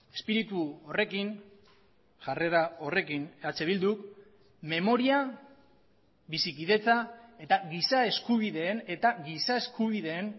espiritu horrekin jarrera horrekin eh bilduk memoria bizikidetza eta giza eskubideen eta giza eskubideen